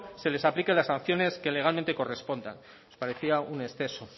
se les aplique las sanciones que legalmente corresponda nos parecía un exceso